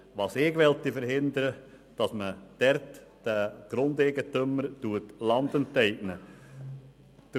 Ich will verhindern, dass man den Grundeigentümern dort Land enteignet.